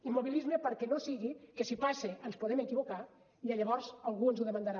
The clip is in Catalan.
immobilisme perquè no sigui que si passa ens podem equivocar i llavors algú ens ho demanarà